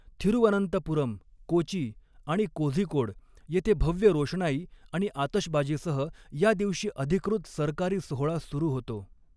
थिरुवनंतपुरम, कोची आणि कोझीकोड येथे भव्य रोषणाई आणि आतषबाजीसह या दिवशी अधिकृत सरकारी सोहळा सुरू होतो.